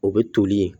O bɛ toli yen